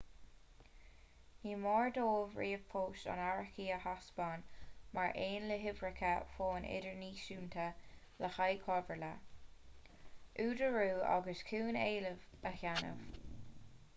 ní mór dóibh ríomhphost an árachaí a thaispeáin mar aon le huimhreacha fóin idirnáisiúnta le haghaidh comhairle/údarú agus chun éilimh a dhéanamh